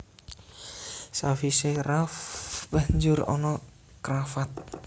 Sawisé ruff banjur ana cravat